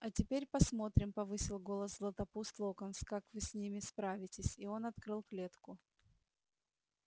а теперь посмотрим повысил голос златопуст локонс как вы с ними справитесь и он открыл клетку